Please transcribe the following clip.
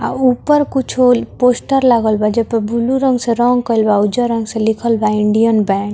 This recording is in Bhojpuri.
आ ऊपर कुछो पोस्टर लागल बा जे पर बुलु रंग से रंग कैल बा उज्जर रंग से लिखल बा इंडियन बैंक ।